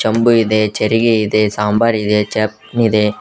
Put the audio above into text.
ಚಂಬು ಇದೆ ಚರಿಗೆ ಇದೆ ಸಾಂಬರ್ ಇದೆ ಚಪ್ನ ಇದೆ.